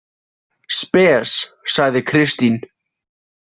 Spes, sagði Kristín.